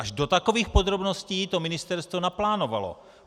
Až do takových podrobností to ministerstvo naplánovalo.